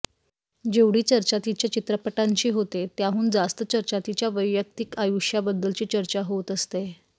जेवढी चर्चा तिच्या चित्रपटांची होते त्याहून जास्त चर्चा तिच्या वैयक्तिक आयुष्याबद्दलची चर्चा होत असते